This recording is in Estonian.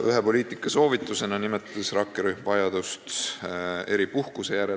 Ühe poliitikasoovitusena nimetas rakkerühm vajadust eripuhkuse järele.